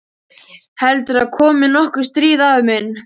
Heldurðu að komi nokkuð stríð, afi minn?